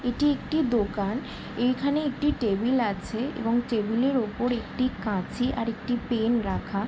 এটি একটি দোকান। এইখানে একটি টেবিল আছে এবং টেবিলের উপর একটি কাঁচি আর একটি পেন রাখা।